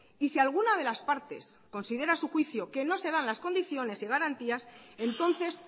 y si alguna de las partes considera a su juicio que no se dan las condiciones y garantías entonces